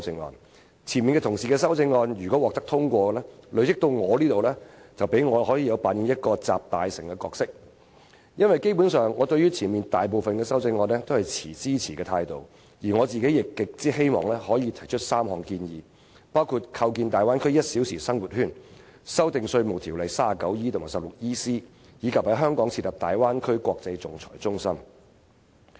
如果前方議員的修正案獲得通過，及至我發言時，便可以讓我扮演"集大成"的角色，因為我對前方大部分的修正案基本上均持支持的態度，而我亦十分希望提出3項建議，包括構建粵港澳大灣區"一小時生活圈"、修訂《稅務條例》第 39E 及 16EC 條，以及在香港設立大灣區國際仲裁中心。